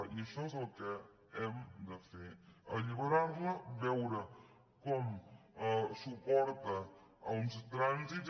i això és el que hem de fer alliberar·la veure com suporta uns tràn·sits